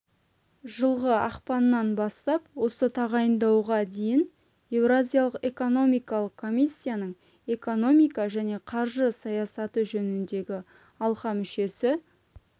жылғы ақпаннан бастап осы тағайындауға дейін еуразиялық экономикалық комиссияның экономика және қаржы саясаты жөніндегі алқа мүшесі